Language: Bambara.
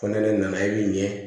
Ko ne nana i bi ɲɛ